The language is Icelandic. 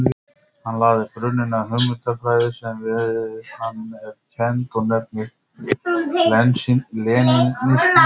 Hann lagði grunninn að hugmyndafræði sem við hann er kennd og nefnist lenínismi.